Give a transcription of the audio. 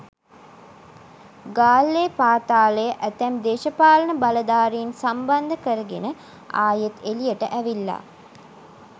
ගාල්ලේ පාතාලය ඇතැම් දේශපාලන බලධාරීන් සම්බන්ධ කරගෙන ආයෙත් එළියට ඇවිල්ලා.